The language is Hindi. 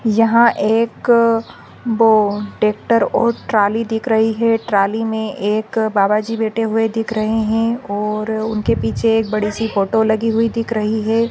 यहा एक बो ट्रेक्टर और ट्रॉली दिख रही है ट्रॉली मै एक बाबाजी बैठे हुए दिख रहे है और उनके पीछे एक बड़ी सी फोटो लगी हुई दिख रही है।